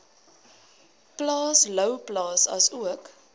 plaas louwplaas asook